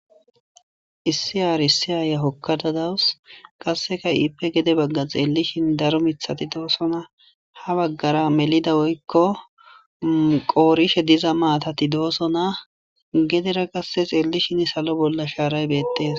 issi aar issi aaya hokkadadawus qasseka iipe gede bagga xeellishin daro mithati doossona ha baggara melida oykko qoorishe diza maatati doosona gedera qasse xeellishin salo bolla shaaray beettees